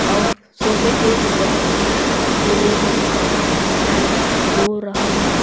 और सोफे के ऊपर पीले रंग का पेंट हो रहा है।